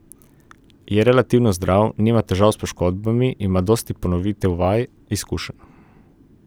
Je relativno zdrav, nima težav s poškodbami, ima dosti ponovitev vaj, izkušenj.